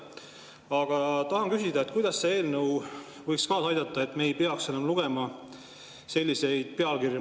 Aga tahan küsida, kuidas see eelnõu võiks kaasa aidata sellele, et me ei peaks enam lugema selliseid pealkirju.